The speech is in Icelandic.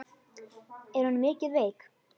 Er hún mikið veik?